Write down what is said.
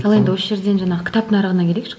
ал енді осы жерден жаңағы кітап нарығына келейікші